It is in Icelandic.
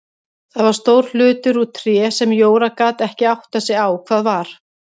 Það var stór hlutur úr tré sem Jóra gat ekki áttað sig á hvað var.